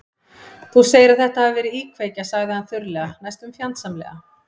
Þú segir að þetta hafi verið íkveikja- sagði hann þurrlega, næstum fjandsamlega.